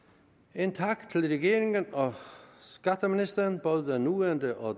en tak til regeringen og skatteministeren både den nuværende og